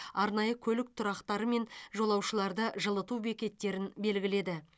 арнайы көлік тұрақтары мен жолаушыларды жылыту бекеттерін белгіледі